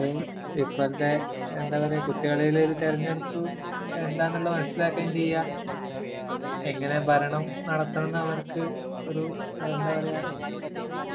ഇപ്പഴത്തെ..എന്താ പറയ്ക...കുട്ടികളില് ഒരു തെരഞ്ഞെടുപ്പ് എന്താന്നുള്ള മനസിലാക്കുകേം ചെയ്യാം...എങ്ങനെ ഭരണം നടത്തണംന്ന് അവർക്കൊരു...എന്താ പറയ്ക...